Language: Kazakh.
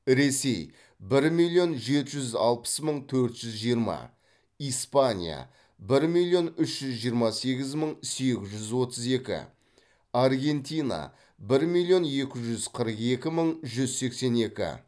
ресей бір миллион жетіс жүз алпыс мың төрт жүз жиырма испания бір миллион үш жүз жиырма сегіз мың сегіз жүз отыз екі аргентина бір миллион екі жүз қырық екі мың жүз сексен екі